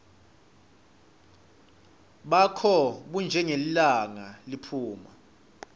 bakho bunjengelilanga liphuma